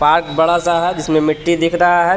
park बड़ा सा है जिसमे मिट्टी दिख रहा है छो--